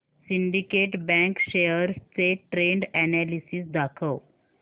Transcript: Syndicate Bank shares चे trend analysis दाखव